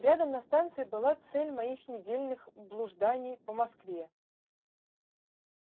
рядом на станции была цель моих недельных блужданий по москве